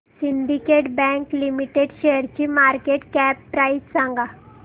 Syndicate bank limited शेअरची market cap price सांगा